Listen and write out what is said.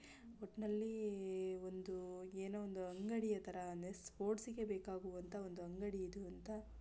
ಒಟ್ನಲ್ಲಿ ಒಂದು ಏನೋ ಒಂದು ಅಂಗಡಿಯ ತಾರಾ ಅಂದ್ರೆ ಸ್ಪೋರ್ಟ್ಸ್ ಗೆ ಬೇಕಾಗುವ ಒಂದು ಅಂಗಡಿ ಇದು ಅಂತ --